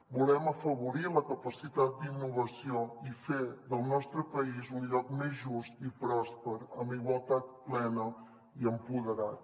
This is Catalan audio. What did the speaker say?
volem afavorir la capacitat d’innovació i fer del nostre país un lloc més just i pròsper amb igualtat plena i empoderat